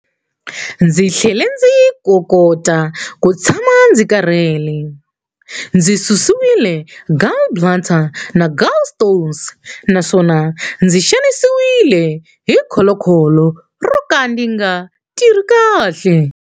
Ndzi tlhele ndzi tokota ku tshama ndzi karhele, ndzi susiwile gallbladder na gallstones naswona ndzi xanisiwile hi kholokholo ro ka ri nga tirhi kahle.